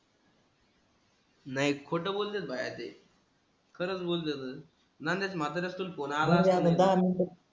नाही खोट बोल्लेल भाय आहे ते खरस बोल्लो न नण्यात मातरा असतो कोण